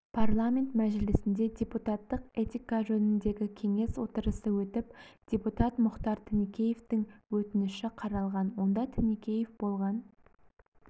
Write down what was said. парламент мәжілісінде депутаттық этика жөніндегі кеңес отырысы өтіп депутат мұхтар тінікеевтің өтініші қаралған онда тінікеев болған